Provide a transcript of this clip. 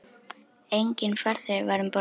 Enginn farþegi var um borð.